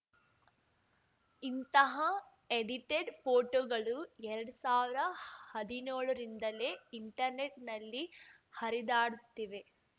ಇಂತಹ ಎಡಿಟೆಡ್‌ ಫೋಟೋಗಳು ಎರಡ್ ಸಾವ್ರ ಹದಿನ್ಯೋಳರಿಂದಲೇ ಇಂಟರ್‌ನೆಟ್‌ನಲ್ಲಿ ಹರಿದಾಡುತ್ತಿವೆ